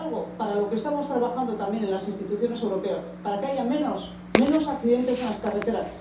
Para eso estamos trabajando también en las instituciones europeas, para que haya menos accidentes en las carreteras.